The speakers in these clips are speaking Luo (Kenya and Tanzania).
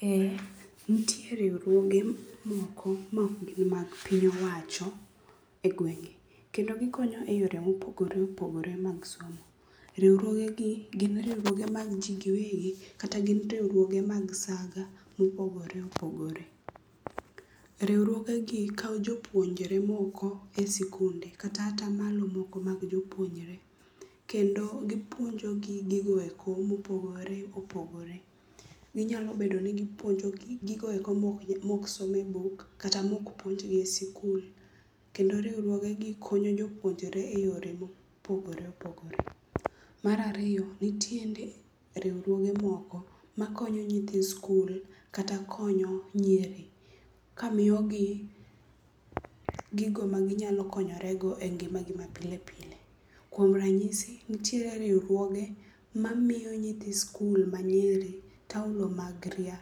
Eh nitie riwruoge moko maok gin mag piny owacho e gwenge kendo gikonyo e yore mopogore opogore mag somo. Riwruogegi gin riwruuoge mag ji giwegi kata gin riwruoge mag saga mopogore opogore. Riwruogegi kawo jopuonjre moko e sikunde kata atamalo moko mag jopuonjre. Kendo gipuonjogi gigo eko mopogore opogore. Ginyalo bedo ni gipuonjo gigoeko mok som e buk kata mok puonjgi e sikul kendo riwruogegi konyo jopuonjre e yore mopogore opogore. Mar ariyo nitiere riwruoge moko makonyo nyithi skul kata konyo nyiri kamiyogi gigo maginyalo konyorego e ngimagi mapile pile. Kuom ranyisi nitiere riwruoge mamiyo nyithi skul manyiri taulo mag ria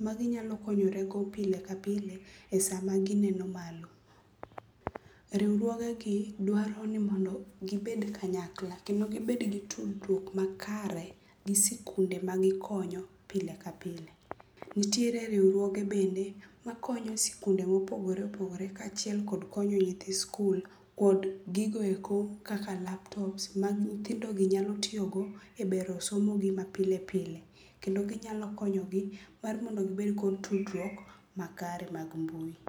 maginyalo konyorego pile ka pile e sama gineno malo. Riwruogegi dwaro ni mondo gibed kanyakla kendo gibed gi tudruok makare gi sikunde magikonyo pile ka pile. Nitiere riwruoge bende makonyo sikunde mopogore opogore kaachiel kod konyo nyithi sikul kod gigo eko kaka laptops ma nyithindogi nyalo tiyogo e bero somogi ma pile pile kendo ginyalo konyogi mondo gibed kod tudruok makare mag mbui.